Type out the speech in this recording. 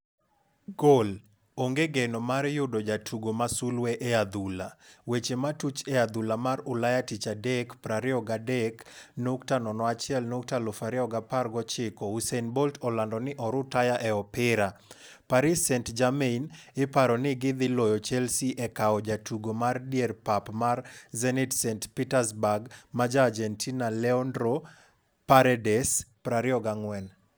(Goal) 'Onge geno' mar yudo jatugo ma sulwe e adhula. Weche matuch e adhul mar Ulayatich adek 23.01.2019 Usain Bolt olando ni orutaya e opira ' Paris St-Germain iparo nigi dhi loyo Chelsea e kawo jatugo mago dier pap mar Zenit St Petersburg ma ja Argentina Leandro Paredes, 24.